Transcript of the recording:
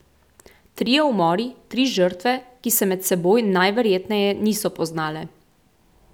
Trije umori, tri žrtve, ki se med seboj najverjetneje niso poznale.